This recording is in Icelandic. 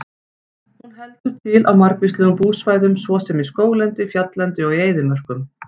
Hún heldur til á margvíslegum búsvæðum svo sem í skóglendi, fjalllendi og í eyðimörkum.